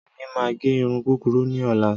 Èmi máa gẹ irun kúkurú ní ọ̀la.